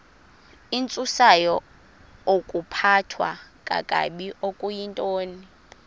intsusayokuphathwa kakabi okuyintoni